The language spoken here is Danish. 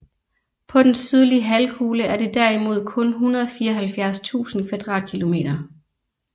På den sydlige halvkugle er det derimod kun 174 000 km²